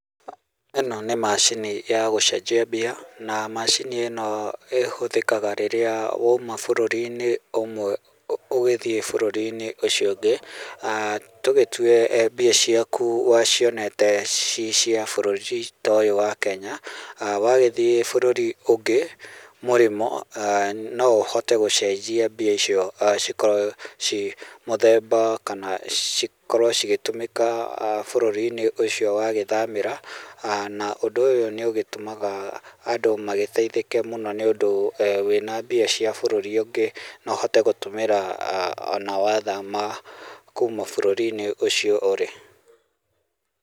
Ĩno nĩ macini ya gũcenjia mbia na macini ĩno ĩhũthĩkaga rĩrĩa wauma bũrũri-inĩ ũmwe ũgũthiĩ bũrũri-inĩ ũcio ũngĩ, aah tũgĩtue mbia ciaku wacionete ciĩ cia bũrũri ta ũyũ wa Kenya, wagĩthiĩ bũrũri ũngĩ mũrĩmo, aah no ũhote gũcenjia mbia icio cikorwo ciĩ mũthemba, kana cikorwo cigĩtũmĩka aah bũrũri-inĩ ũcio wagĩthamĩra, na ũndũ ũyũ nĩ ũgĩtũmaga andũ magĩteithĩke mũno, nĩ ũndũ wĩna mbia cia bũrũri ũngĩ no ũhote gũtũmĩra ona wathama kuma bũrũri-inĩ ũcio ũrĩ.